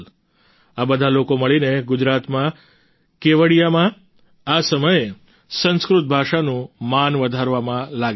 આ બધા લોકો મળીને ગુજરાતમાં કેવડિયામાં આ સમયે સંસ્કૃત ભાષાનું માન વધારવામાં લાગેલા છે